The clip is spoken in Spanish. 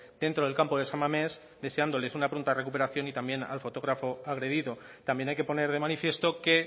dentro del campo de san mames deseándoles una pronta recuperación y también al fotógrafo agredido también hay que poner de manifiesto que